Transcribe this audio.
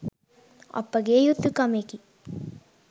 අපගේ යුතුකමෙකි.